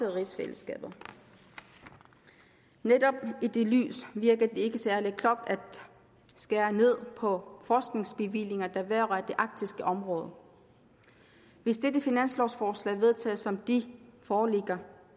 rigsfællesskabet netop i det lys virker det ikke særlig klogt at skære ned på forskningsbevillinger der vedrører det arktiske område hvis dette finanslovforslag vedtages sådan som det foreligger